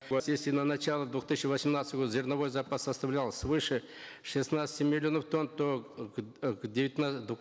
если на начало две тысячи восемнадцатого года зерновой запас составлял свыше шестнадцати миллионов тонн то